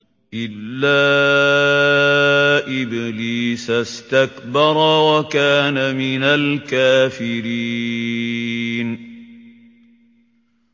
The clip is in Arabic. إِلَّا إِبْلِيسَ اسْتَكْبَرَ وَكَانَ مِنَ الْكَافِرِينَ